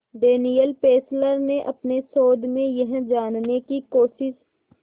Daniel Fessler ने अपने शोध में यह जानने की कोशिश